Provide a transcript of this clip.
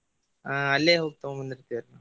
ಹ್ಮ್ ಅಲ್ಲೆ ಹೋಗಿ ತೊಗೊಂಬಂದಿರ್ತೆವ್ರಿ.